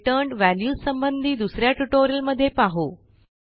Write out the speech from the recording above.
returned values संबंधी दुस या ट्युटोरियलमध्ये पाहू